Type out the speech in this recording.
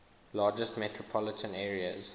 largest metropolitan areas